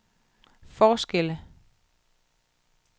forskelle